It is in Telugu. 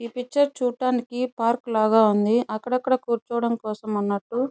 ఈ పిక్చర్ చూడడానికి పార్కు లాగా ఉంది. అక్కడక్కడ కూర్చోటం అన్నట్టు.